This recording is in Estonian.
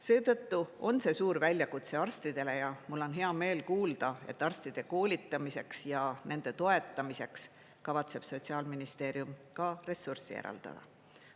Seetõttu on see suur väljakutse arstidele ja mul on hea meel kuulda, et arstide koolitamiseks ja nende toetamiseks kavatseb Sotsiaalministeerium ka ressurssi eraldada.